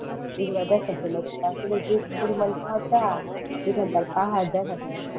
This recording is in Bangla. এগুলো দেখার জন্য তারপর যে পরিমাণ কুয়াশা এখানকার পাহাড় দেখা যায়নি।